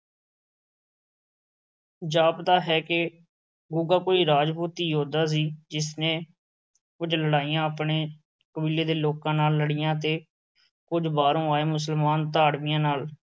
ਜਾਪਦਾ ਹੈ ਕਿ ਗੁੱਗਾ ਕੋਈ ਰਾਜਪੂਤੀ ਯੋਧਾ ਸੀ, ਜਿਸ ਨੇ ਕੁੱਝ ਲੜਾਈਆਂ ਆਪਣੇ ਕਬੀਲੇ ਦੇ ਲੋਕਾਂ ਨਾਲ ਲੜੀਆਂ ਅਤੇ ਕੁੱਝ ਬਾਹਰੋਂ ਆਏ ਮੁਸਲਮਾਨ ਧਾੜਵੀਆਂ ਨਾਲ।